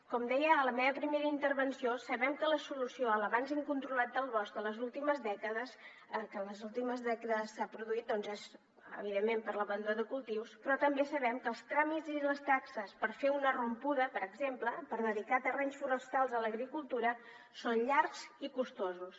com deia a la meva primera intervenció sabem que l’avanç incontrolat del bosc que en les últimes dècades s’ha produït és evidentment per l’abandó de cultius però també sabem que els tràmits i les taxes per fer una rompuda per exemple per dedicar terrenys forestals a l’agricultura són llargs i costosos